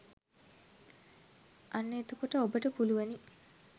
අන්න එතකොට ඔබට පුළුවනි